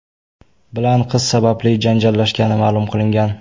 bilan qiz sababli janjallashgani ma’lum qilingan.